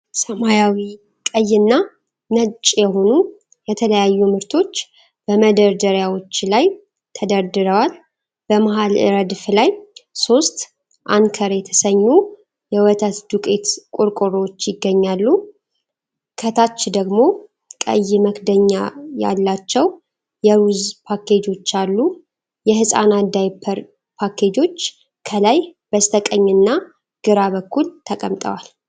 ሰማያዊ፣ ቀይና ነጭ የሆኑ የተለያዩ ምርቶች በመደርደሪያዎች ላይ ተደርድረዋል። በመሃል ረድፍ ላይ ሦስት Anchor የተሰኙ ወተት ዱቄቶች ቆርቆሮዎች ይገኛሉ። ከታች ደግሞ ቀይ መክደኛ ያላቸው የሩዝ ፓኬጆች አሉ። የሕፃናት ዳይፐር ፓኬጆች ከላይ በስተቀኝና ግራ በኩል ተቀምጠዋል።